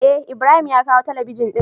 Eh ibrahim ya kawo talabijin din.